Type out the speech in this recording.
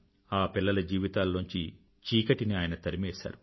ఆ పిల్లల జీవితాలలోంచి చీకటిని ఆయన తరిమివేశారు